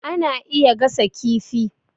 Ana iya gasa kifi